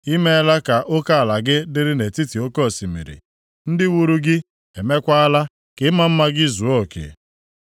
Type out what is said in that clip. I meela ka oke ala gị dịrị nʼetiti oke osimiri. Ndị wuru gị emeekwala ka ịma mma gị zuo oke.